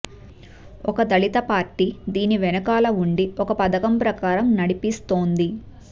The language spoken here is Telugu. ఒక దళిత పార్టీ దీని వెనక్కాల వుండి ఒక పథకం ప్రకారం నడిపిస్తోంది